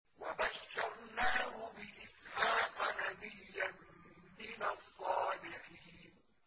وَبَشَّرْنَاهُ بِإِسْحَاقَ نَبِيًّا مِّنَ الصَّالِحِينَ